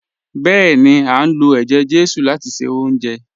Bẹ́ẹ̀ni, a ń lo ẹjẹ-jesu láti ṣe oúnjẹ